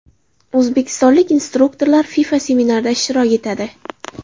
O‘zbekistonlik instruktorlar FIFA seminarida ishtirok etadi.